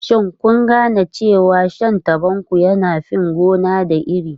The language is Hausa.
Shin kun gane cewa shan tabanku yana fin gona da iri?